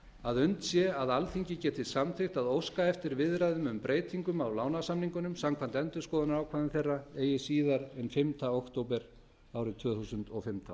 að unnt sé að alþingi geti samþykkt að óska eftir viðræðum um breytingar á lánasamningunum samkvæmt endurskoðunarákvæðum þeirra eigi síðar en fimmta október árið tvö þúsund og fimmtán